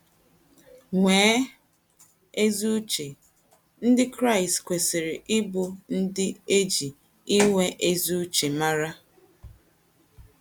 Nwèè ezì uche: Ndị Kraịst kwesịrị ịbụ ndị e ji inwe ezi uche màrà.